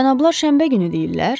Cənablar şənbə günü deyirlər?